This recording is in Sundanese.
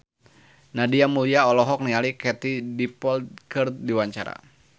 Nadia Mulya olohok ningali Katie Dippold keur diwawancara